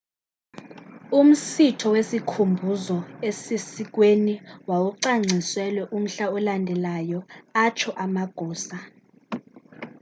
umsitho wesikhumbuzo esisesiikweni wawucwangciselwe umhla olandelayo atsho amagosa